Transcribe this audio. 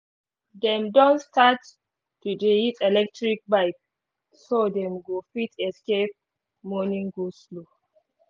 dem don start to dey use electric bike so them go fit escape morning go-slow